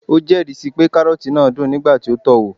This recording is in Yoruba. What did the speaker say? o jeri si pe karroti naa dun nigba ti o to o wo